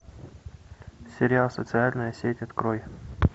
сериал социальная сеть открой